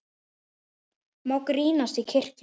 Má grínast í kirkju?